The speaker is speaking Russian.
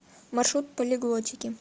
маршрут полиглотики